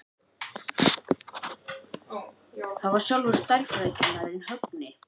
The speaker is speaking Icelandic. Það var sjálfur stærðfræðikennarinn, Högni.